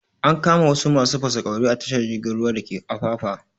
An kama wasu masu fasaƙauri a tashar jirgin ruwa dake afafa